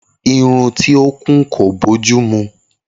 Irun tí o kún kò bójúmu